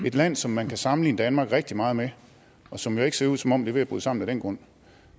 et land som man kan sammenligne danmark rigtig meget med og som jo ikke ser ud som om det er ved at bryde sammen af den grund